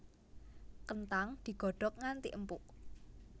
Kenthang digodhog nganti empuk